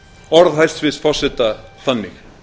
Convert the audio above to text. orð hæstvirts forseta þannig